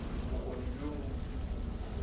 bokgoni bjo bo botse kudukudu